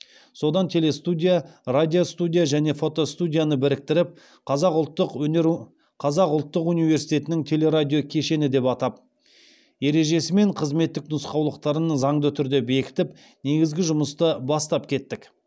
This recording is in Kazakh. содан телестудия радиостудия және фотостудияны біріктіріп қазақ ұлттық университетінің телерадиокешені деп атап ережесі мен қызметтік нұсқаулықтарын заңды түрде бекітіп негізгі жұмысты бастап кеттік